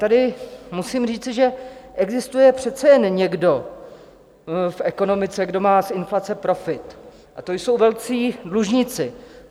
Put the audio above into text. Tady musím říci, že existuje přece jen někdo v ekonomice, kdo má z inflace profit, a to jsou velcí dlužníci.